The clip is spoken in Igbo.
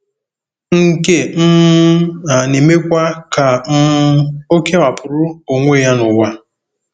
Nke um a na-emekwa ka um ọ kewapụrụ onwe ya n'ụwa.